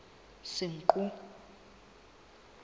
senqu